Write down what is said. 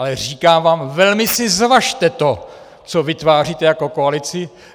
Ale říkám vám, velmi si zvažte to, co vytváříte jako koalici.